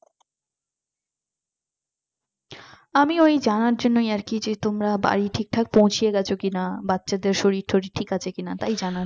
আমি ওই জানার জন্যই আর কি যে তোমরা বাড়ি ঠিক ঠাক পৌছে গেছ কিনা বাচ্চাদের শরীর তরির ঠিক আছে কিনা তাই জানার